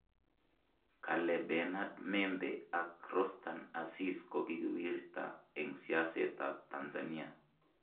Kale Bernard Membe ak Rostan Aziz kokiwirta eng siaset ab Tanzania